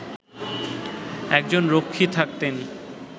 একজন রক্ষী থাকতেন